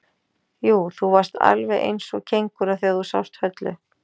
Jú, þú varðst alveg eins og kengúra þegar þú sást Höllu.